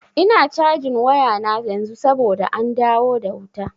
Ina cajin wayana yanzu saboda an dawo da wuta.